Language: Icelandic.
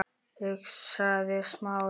hugsaði Smári.